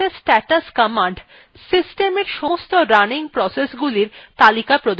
ps অথবা process status command systemএর সমস্ত running processগুলির তালিকা প্রদর্শন করে